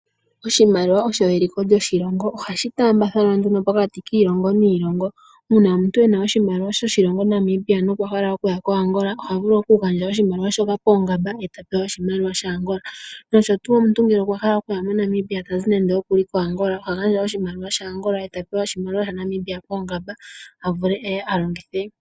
Oshimaliwa osho eliko lyoshilongo . Ohashi tambathanwa nduno pokati kiilongo niilongo . Uuna omuntu ena oshimaliwa shoshilongo Namibia nokwahala okuya koAngola oha vulu okugandja oshimaliwa shoka poongamba eta pewa oshimaliwa shAngola. Ngele omuntu okwahala okuya moNamibia tazi koAngola, oha gandja oshimaliwa shaAngola eta pewa oshimaliwa shaNamibia poongamba avule eye alongithe.